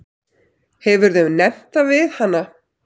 Hefurðu nefnt það við hana?